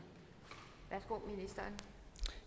om